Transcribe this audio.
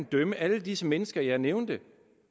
dømme alle disse mennesker jeg nævnte